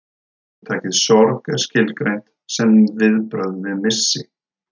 Hugtakið sorg er skilgreint sem viðbrögð við missi.